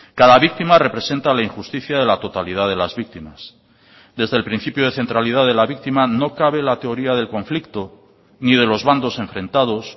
cada víctima representa la injusticia de la totalidad de las víctimas desde el principio de centralidad de la víctima no cabe la teoría del conflicto ni de los bandos enfrentados